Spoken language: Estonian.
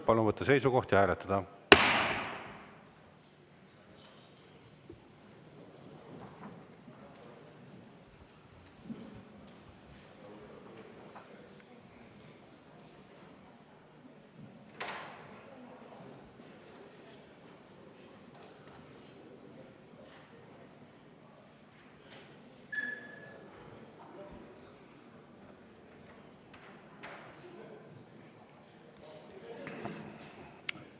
Palun võtta seisukoht ja hääletada!